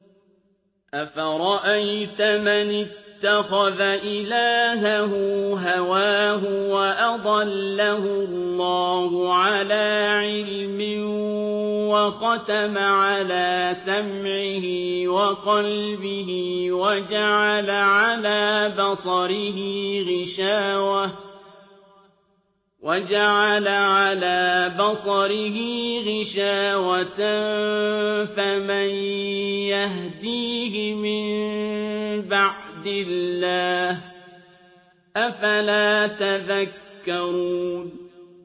أَفَرَأَيْتَ مَنِ اتَّخَذَ إِلَٰهَهُ هَوَاهُ وَأَضَلَّهُ اللَّهُ عَلَىٰ عِلْمٍ وَخَتَمَ عَلَىٰ سَمْعِهِ وَقَلْبِهِ وَجَعَلَ عَلَىٰ بَصَرِهِ غِشَاوَةً فَمَن يَهْدِيهِ مِن بَعْدِ اللَّهِ ۚ أَفَلَا تَذَكَّرُونَ